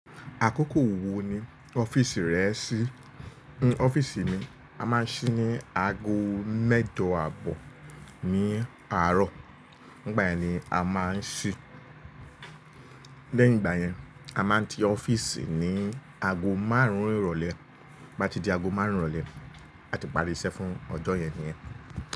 Àkókò wo ni ọ́fíìsì rẹ ṣí? Ọ́fíìsì mi a máa ń ṣí ní ago mẹ́jọ àbọ̀ ní àárọ̀, ìgbà yẹn ni a máa ń ṣí. Lẹ́yìn ìgbà yẹn, a máa ń ti ọ́fíìsì ní ago márùn-ún ìrọ̀lẹ́. Bí a bá ti di ago márùn-ún ìrọ̀lẹ́, a ti parí iṣẹ́ fún ọjọ́ yẹn niyẹn.